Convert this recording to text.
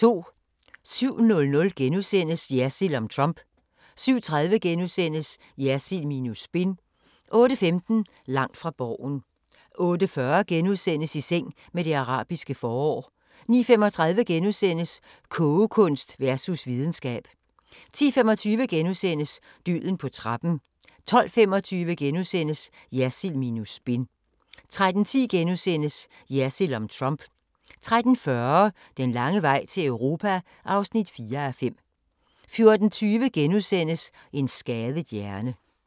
07:00: Jersild om Trump * 07:30: Jersild minus spin * 08:15: Langt fra Borgen 08:40: I seng med det arabiske forår * 09:35: Kogekunst versus videnskab * 10:25: Døden på trappen * 12:25: Jersild minus spin * 13:10: Jersild om Trump * 13:40: Den lange vej til Europa (4:5) 14:20: En skadet hjerne *